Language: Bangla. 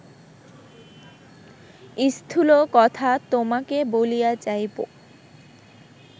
স্থূল কথা তোমাকে বলিয়া যাইব